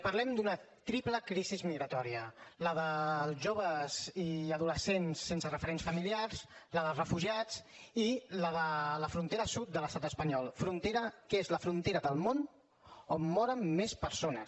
parlem d’una triple crisi migratòria la dels joves i adolescents sense referents familiars la dels refugiats i la de la frontera sud de l’estat espanyol frontera que és la frontera del món on moren més persones